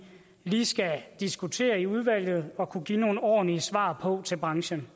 lige skal diskutere i udvalget og kunne give nogle ordentlige svar på til branchen